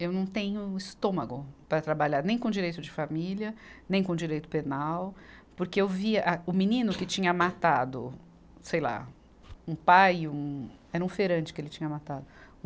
Eu não tenho estômago para trabalhar, nem com direito de família, nem com direito penal, porque eu vi a, o menino que tinha matado, sei lá, um pai, um, era um feirante que ele tinha matado. Um